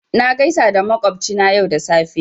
Na gaisa da makwabci na yau da safe